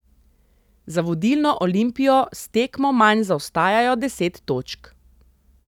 Za vodilno Olimpijo s tekmo manj zaostajajo deset točk.